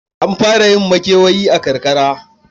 An fara yin makewayi a karakara.